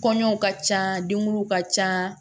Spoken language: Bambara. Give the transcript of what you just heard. Kɔɲɔw ka ca denguluw ka ca